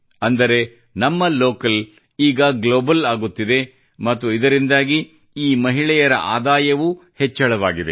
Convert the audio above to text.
ಅಂದರೆ ನಮ್ಮ ಲೋಕಲ್ ಈಗ ಗ್ಲೋಬಲ್ ಆಗುತ್ತಿದೆ ಮತ್ತು ಇದರಿಂದಾಗಿ ಈ ಮಹಿಳೆಯರ ಆದಾಯವೂ ಹೆಚ್ಚಳವಾಗಿದೆ